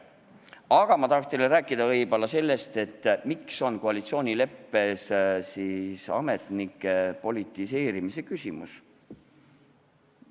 Aga ma tahan teile rääkida sellest, miks on koalitsioonileppes ametnike politiseerimise küsimus.